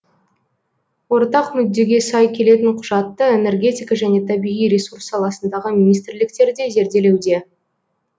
ортақ мүддеге сай келетін құжатты энергетика және табиғи ресурс саласындағы министрліктер де зерделеуде